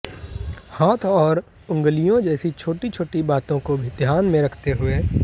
हाथ और उंगलियों जैसी छोटी छोटी बातों को भी ध्यान में रखते हुए